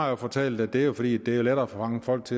jo fortalt at det er fordi det er lettere at fange folks